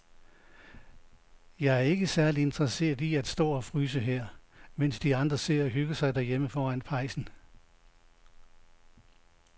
Jeg er ikke særlig interesseret i at stå og fryse her, mens de andre sidder og hygger sig derhjemme foran pejsen.